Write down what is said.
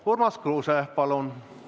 Urmas Kruuse, palun!